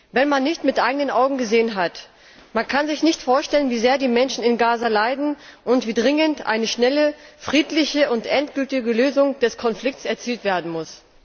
Wenn man es nicht mit eigenen Augen gesehen hat, kann man sich nicht vorstellen, wie sehr die Menschen in Gaza leiden und wie dringend eine schnelle, friedliche und endgültige Lösung des Konflikts erzielt werden muss.